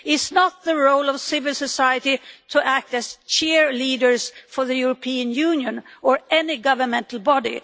It is not the role of civil society to act as cheerleaders for the European Union or any governmental body.